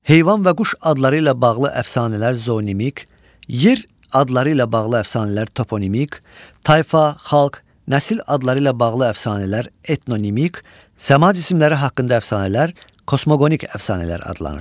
Heyvan və quş adları ilə bağlı əfsanələr zonomik, yer adları ilə bağlı əfsanələr toponimik, tayfa, xalq, nəsil adları ilə bağlı əfsanələr etnonimik, səma cisimləri haqqında əfsanələr kosmoqonik əfsanələr adlanır.